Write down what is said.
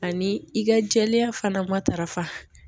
Ani i ka jɛɛya fana matarafa